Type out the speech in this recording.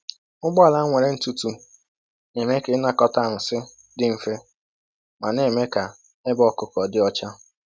Ụgbọala nwere ntụtụ na-eme ka ịnakọta nsị dị mfe ma na-eme ka ebe ọkụkụ dị ọcha.